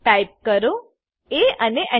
type કરો એ અને Enter